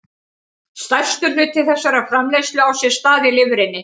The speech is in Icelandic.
Stærstur hluti þessarar framleiðslu á sér stað í lifrinni.